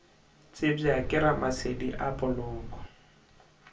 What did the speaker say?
tsebja ke ramasedi a poloko